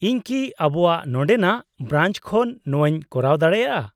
-ᱤᱧ ᱠᱤ ᱟᱵᱚᱣᱟᱜ ᱱᱚᱸᱰᱮᱱᱟᱜ ᱵᱨᱟᱧᱪ ᱠᱷᱚᱱ ᱱᱚᱣᱟᱧ ᱠᱚᱨᱟᱣ ᱫᱟᱲᱮᱭᱟᱜᱼᱟ ?